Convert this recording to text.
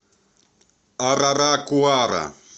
араракуара